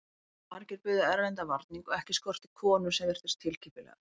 Margir buðu erlendan varning og ekki skorti konur sem virtust tilkippilegar.